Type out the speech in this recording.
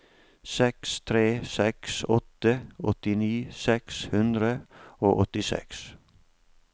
seks tre seks åtte åttini seks hundre og åttiseks